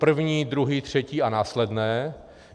První, druhý, třetí a následné.